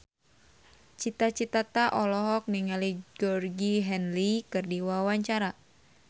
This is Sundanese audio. Cita Citata olohok ningali Georgie Henley keur diwawancara